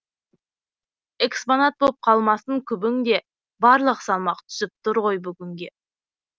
экспонат боп қалмасын күбің де барлық салмақ түсіп тұр ғой бүгінге